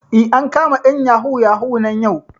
Eh, an kama ƴan yahoo yahoo nan yau